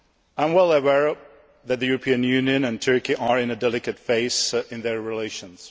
I am well aware that the European Union and Turkey are in a delicate phase in their relations